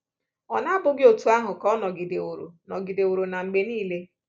Ọ̀ na bụghị otú ahụ ka ọ nọgideworo nọgideworo na mgbe niile?